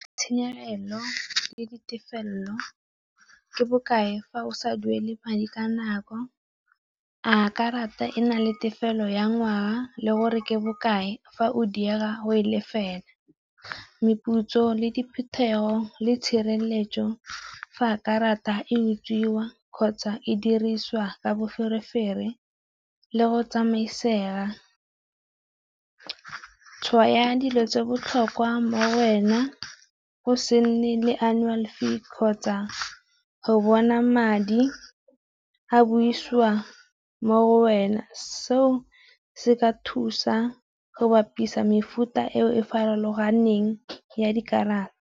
Tshenyegelo le ditefelelo ke bokae fa o sa duele madi ka nako, a karata e na le tefelo ya ngwaga le gore ke bokae fa o di go e lefela, meputso le diphuthego, le tshireletso. Fa a karata e utswiwa kgotsa e dirisiwa ka boferefere le go tsamaisega. Tshwao ya dilo tse di botlhokwa mo go wena, go se nne le annual fee kgotsa go bona madi a busiwa mo wena, seo se ka thusa go bapisa mefuta e e farologaneng ya dikarata.